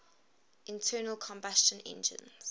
internal combustion engines